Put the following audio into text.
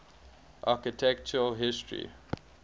architectural history